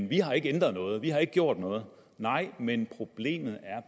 vi har ikke ændret noget vi har ikke gjort noget nej men problemet er